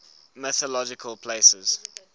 mythological places